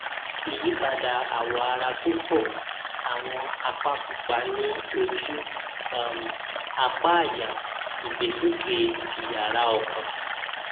ìyípadà àwọ ara tó pọ àwọn àpá pupa ní ojú um apá àyà ìgbésókè ìyára ọkàn